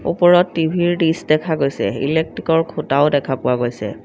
ওপৰত টি_ভি ৰ দিছ দেখা গৈছে ইলেকট্ৰিক ৰ খুঁটাও দেখা পোৱা গৈছে।